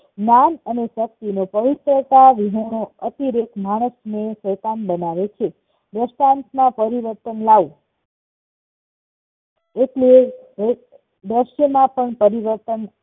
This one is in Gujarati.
નામ અને શક્તિ ને પવિત્રતા વિહોણો અતિરેક માણસ ને શૈતાન બનાવે વર્તમાન માં પરિવર્તન લાવવું એટલે ભવિષ્યમાં પણ પરિવર્તન